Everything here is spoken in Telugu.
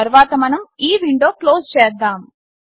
తర్వాత మనం ఈ విండో క్లోస్ చేస్తాము